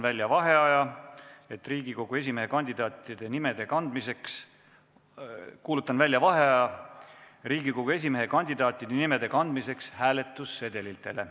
Sulgen Riigikogu esimehe kandidaatide nimekirja ja kuulutan välja vaheaja Riigikogu esimehe kandidaatide nimede kandmiseks hääletussedelitele.